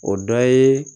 O dɔ ye